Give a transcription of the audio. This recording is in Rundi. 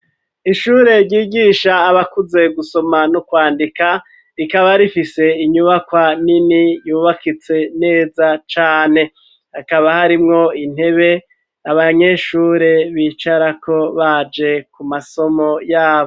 Ishure ryigisha abakuze gusoma n'ukwandika rikaba rifise inyubakwa nini yubakitse neza cane hakaba harimwo intebe abanyeshure bicarako baje ku masomo yabo.